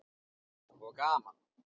Og gaman.